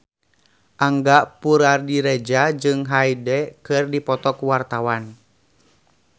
Angga Puradiredja jeung Hyde keur dipoto ku wartawan